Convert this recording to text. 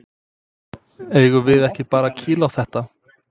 Eigum við ekki bara að kýla á þetta?